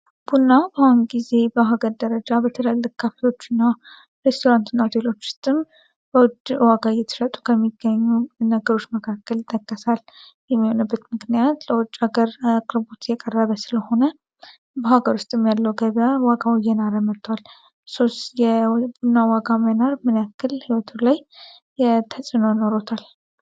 ቡና ባሁን ጊዜ በአሃገር ደረጃ በተለለ ካፊዎቹ ና ሬስቶራንት ናውቴሎች ውስጥም በወድር ዋጋ የትረጡ ከሚገኙ ነገሮች መካከል ተከሳል የሚሆነበት ምክንያት ለወጭ ሀገር አቅርቡት የቀረበ ስለሆነ በሀገር ውስጥም ያለው ገቢያር ዋጋ ውየናረመጥቷል ሶስ የቡና ዋጋ ሜናር ምነክል ሀይወቱ ላይ የተጽኖ ኖሮታል።